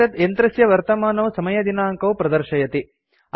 एतत् यन्त्रस्य वर्तमानौ समयदिनाङ्कौ प्रदर्शयति